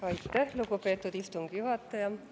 Aitäh, lugupeetud istungi juhataja!